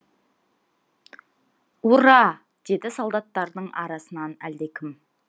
ура деді солдаттардың арасынан әлдекім